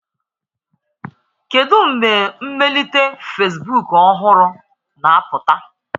Kedu mgbe mmelite Fesbuk ọhụrụ na-apụta?